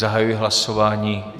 Zahajuji hlasování.